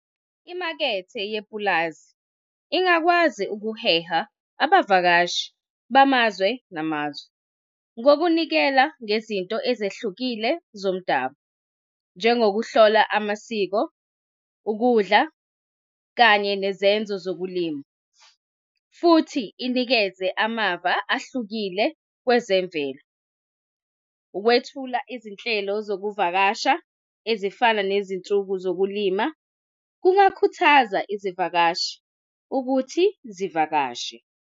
Imakethe yepulazi ingakwazi ukuheha abavakashi bamazwe namazwe, ngokunikela ngezinto ezehlukile zomdabu, njengokuhlola amasiko, ukudla, kanye nezenzo zokulima, futhi inikeze amava ahlukile kwezemvelo. Ukwethula izinhlelo zokuvakasha, ezifana nezinsuku zokulima, kungakhuthaza izivakashi ukuthi zivakashe.